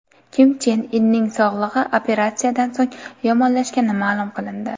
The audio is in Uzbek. Kim Chen Inning sog‘lig‘i operatsiyadan so‘ng yomonlashgani ma’lum qilindi.